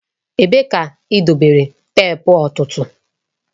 Ebee ka idobere teepu ọ̀tụ̀tụ̀?